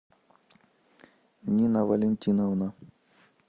нина валентиновна